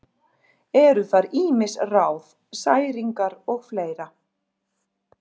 Eru þar ýmis ráð: særingar og fleira.